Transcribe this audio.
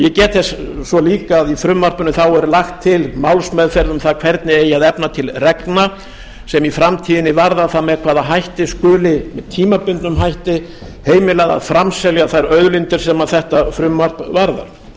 ég get þess svo líka að í frumvarpinu er lagt til málsmeðferð um það hvernig eigi að efna til reglna sem í framtíðinni varða það með hvaða hætti skuli með tímabundnum hætti heimilað að framselja þær auðlindir sem þetta frumvarp varðar